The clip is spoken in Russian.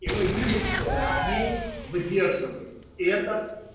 и мы видим что матвей выдерживает это